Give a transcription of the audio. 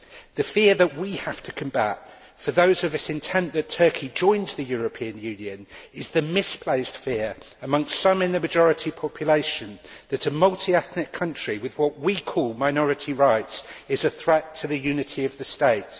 The fear that we have to combat, for those of us intent on seeing Turkey join the European Union, is the misplaced fear amongst some of the majority population that, in a multi ethnic country, what we call minority rights are a threat to the unity of the state.